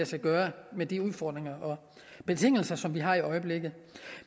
sig gøre med de udfordringer og betingelser som vi har i øjeblikket